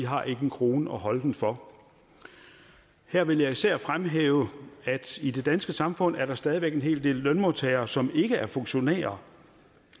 har en krone at holde den for her vil jeg især fremhæve at i det danske samfund er der stadig væk en hel del lønmodtagere som ikke er funktionærer